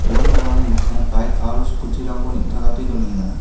ua nokrangni mikkango baik aro skuti rangko neng·takate donenga.